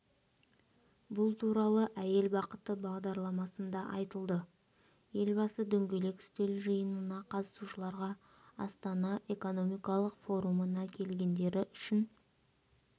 бұл туралы әйел бақыты бағдарламасында айтылды елбасы дөңгелек үстел жиынына қатысушыларға астана экономикалық форумына келгендері үшін